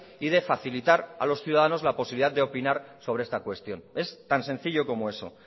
y de facilitar a los ciudadanos la posibilidad de opinar sobre esta cuestión es tan sencillo como eso